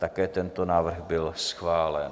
Také tento návrh byl schválen.